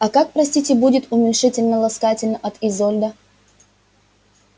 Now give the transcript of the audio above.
а как простите будет уменьшительно-ласкательно от изольда